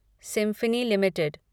symphony limited